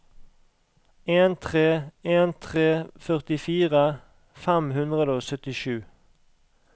en tre en tre førtifire fem hundre og syttisju